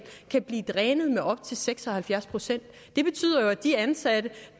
kan blive drænet med op til seks og halvfjerds procent det betyder jo at de ansatte